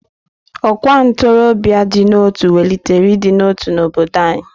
Ọkwa ntorobia dị n'otu welitere ịdị n'otu n'obodo anyị.